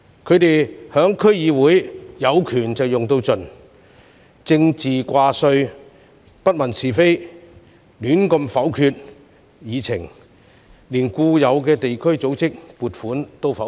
他們在區議會"有權用到盡"，政治掛帥，不問是非，胡亂否決議案，連固有地區組織的撥款也否決。